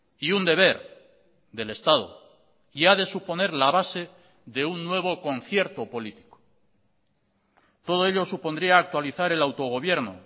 y un deber del estado y ha de suponer la base de un nuevo concierto político todo ello supondría actualizar el autogobierno